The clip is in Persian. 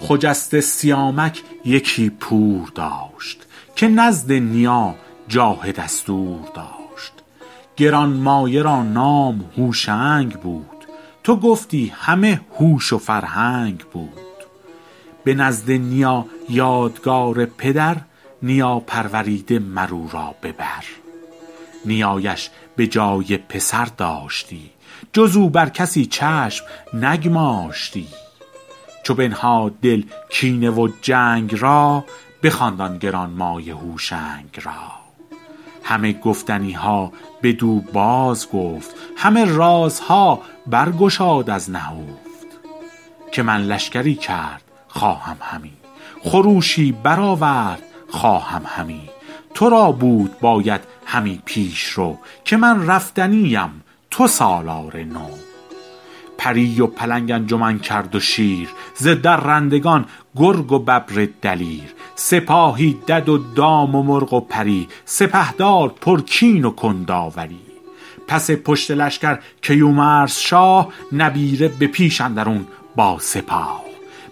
خجسته سیامک یکی پور داشت که نزد نیا جاه دستور داشت گرانمایه را نام هوشنگ بود تو گفتی همه هوش و فرهنگ بود به نزد نیا یادگار پدر نیا پروریده مر او را به بر نیایش به جای پسر داشتی جز او بر کسی چشم نگماشتی چو بنهاد دل کینه و جنگ را بخواند آن گرانمایه هوشنگ را همه گفتنی ها بدو بازگفت همه رازها بر گشاد از نهفت که من لشکری کرد خواهم همی خروشی برآورد خواهم همی تو را بود باید همی پیشرو که من رفتنی ام تو سالار نو پری و پلنگ انجمن کرد و شیر ز درندگان گرگ و ببر دلیر سپاهی دد و دام و مرغ و پری سپهدار پرکین و کنداوری پس پشت لشکر کیومرث شاه نبیره به پیش اندرون با سپاه